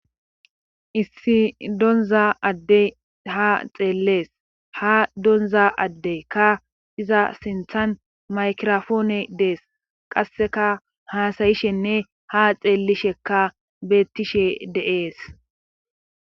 issi donza addey ha xeellees ha donza adde ka iza sinthan maykirofoone dees qasseka haasayishenne ha xeellishekka beettishe deees